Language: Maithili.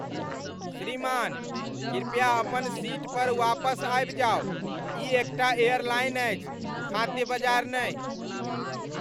श्रीमान, कृपया अपन सीट पर वापस आबि जाउ। ई एकटा एयरलाइन अछि, खाद्य बजार नहि!